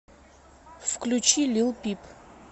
включи лил пип